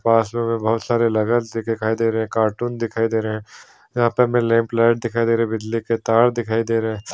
पास पे हमें बहुत सार लगेज दिखाई दे रहे है कार्टून दिखाई दे रहे हैं यहाँ पे हमें लैंप लाइट दिखाई दे रहे है बिजली के तार दिखाई दे रहे है।